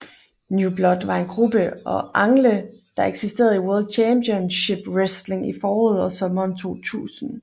New Blood var en gruppe og angle der eksisterede i World Championship Wrestling i foråret og sommeren 2000